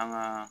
An ga